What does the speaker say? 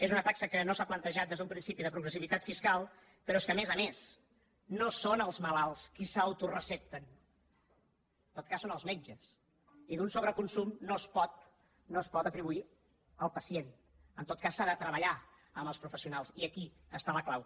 és una taxa que no s’ha plantejat des d’un principi de progressivitat fiscal però és que a més a més no són els malalts qui s’autorecepten en tot cas són els metges i un sobreconsum no es pot atribuir al pacient en tot cas s’ha de treballar amb els professionals i aquí està la clau